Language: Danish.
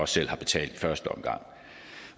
selv har betalt i første omgang